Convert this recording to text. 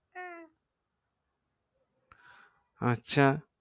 আচ্ছা